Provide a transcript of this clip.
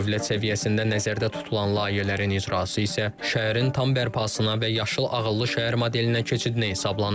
Dövlət səviyyəsində nəzərdə tutulan layihələrin icrası isə şəhərin tam bərpasına və Yaşıl Ağıllı Şəhər modelinə keçidinə hesablanıb.